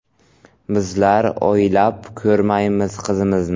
Bizlar oylab ko‘rmaymiz qizimizni.